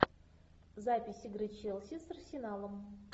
запись игры челси с арсеналом